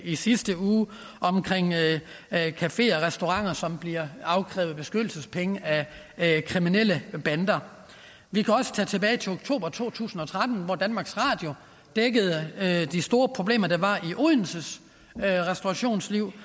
i sidste uge med cafeer og restauranter som bliver afkrævet beskyttelsespenge af kriminelle bander vi kan også gå tilbage til oktober to tusind og tretten hvor danmarks radio dækkede de store problemer der var i odenses restaurationsliv